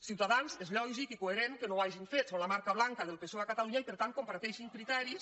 ciutadans és lògic i coherent que no ho hagin fet són la marca blanca del psoe a catalunya i per tant comparteixen criteris